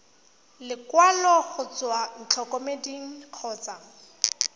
lekwalo go tswa ntlokemeding kgotsa